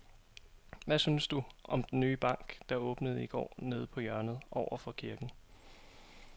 Hvad synes du om den nye bank, der åbnede i går dernede på hjørnet over for kirken?